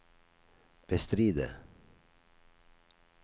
bestride